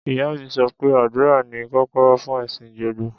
Ìyá mi sọ pé àdúrà ni kọ́kọ́rọ́ fún ẹ̀sìn gbogbo.